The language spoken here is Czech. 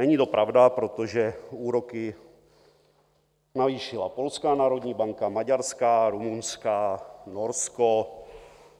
Není to pravda, protože úroky navýšila polská národní banka, maďarská, rumunská, Norsko,